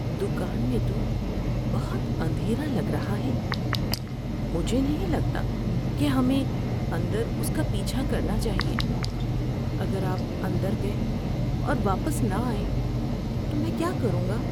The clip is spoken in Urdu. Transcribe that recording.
دکان میں تو بہت اندھیرا لگ رہا ہے۔ مجھے نہیں لگتا کہ ہمیں اندر اس کا پیچھا کرنا چاہیے۔ اگر آپ اندر گئے اور واپس نہ آئے تو میں کیا کروں گا؟